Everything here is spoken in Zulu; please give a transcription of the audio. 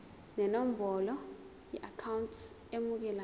nenombolo yeakhawunti emukelayo